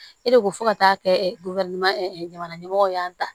E de ko fo ka taa kɛ jamana ɲɛmɔgɔw y'an ta